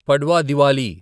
Padwa Diwali